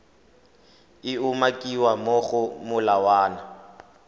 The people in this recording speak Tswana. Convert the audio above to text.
e umakiwang mo go molawana